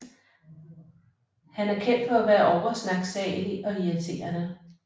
Han er kendt for at være over snaksalig og irriterene